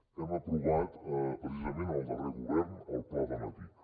hem aprovat precisament el darrer govern el pla donatic